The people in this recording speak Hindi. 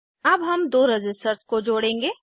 अब हम दो रज़िस्टर्स को जोड़ेंगे